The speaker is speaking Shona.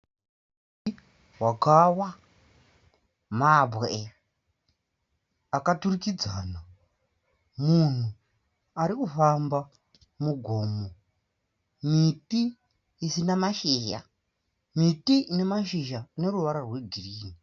Wakawa mabwe akaturikadza, munhu arikufamba mugomo, miti isina mashizha, miti ine mashizha aneruvara rwegirinhi.